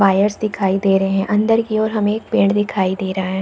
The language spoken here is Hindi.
वायर्स दिखाई दे रहे है अन्दर की ओर हमे एक पेड़ दिखाई दे रहा हैं।